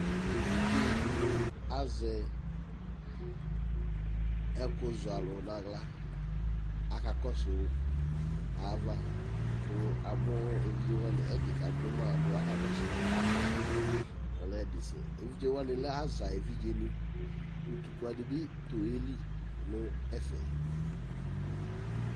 Evidzedini azɛ ɛkuzɔalu naɣla akakɔsʊ ayava kʊ amu evidze ɛdi kaduma evidzewani alɛ aza evidzeni ʊtʊkpa bi tʊ eli nʊ ɛfɛ